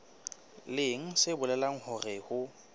leng se bolelang hore ho